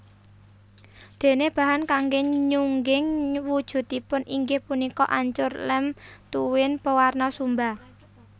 Déné bahan kanggé nyungging wujudipun inggih punika ancur lem tuwin pewarna sumba